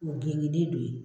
O gengelen do ye.